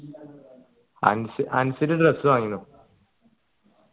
Ansal dress വാങ്ങീന്